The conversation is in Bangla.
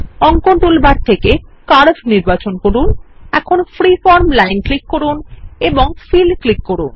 অঙ্কন টুলবার থেকে কার্ভ নির্বাচন করুন এখন ফ্রিফর্ম লাইন ক্লিক করুন ও ফিল ক্লিক করুন